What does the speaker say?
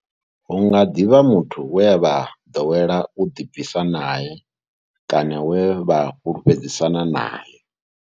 Hu nga ḓi vha muthu we vha ḓowela u ḓibvisa nae kana we vha fhulufhedzisana nae.